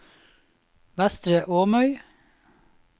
Vestre Åmøy